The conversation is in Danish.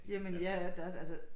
Jamen ja det er da også altså